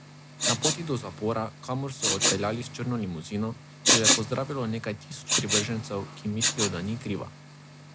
Na poti do zapora, kamor so jo odpeljali s črno limuzino, jo je pozdravilo nekaj tisoč privržencev, ki mislijo, da ni kriva.